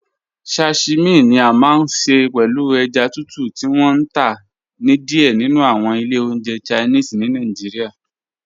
Sashimi ni à máa n ṣẹ pẹ̀lú èjá tùtù ti wọn n tá ni díẹ̀ nínu awọn ilẹ̀ ọ̀njẹ̀ Chinese ni Nàìjíríà.